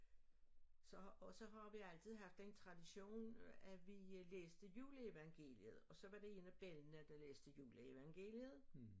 Så og så har vi altid haft en tradition at vi læste juleevangeliet og så var det en af bellana der læste juleevangeliet